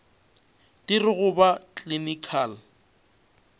di re go ba clinical